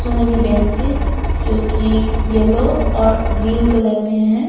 सो many benches जो की yellow और ग्रीन कलर में है।